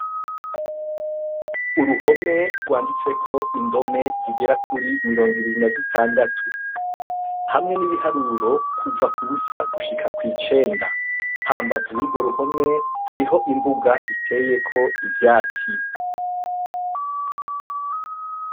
Uruhome rwanditseko indome zigerakuri mirongo ibiri na zitandatu hamwe nibiharuro kuva kubusa kushika kwicenda hambavu yugo ruhome hariho imbuga iteyeko ivyatsi